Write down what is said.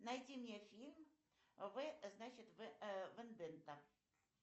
найди мне фильм в значит вендетта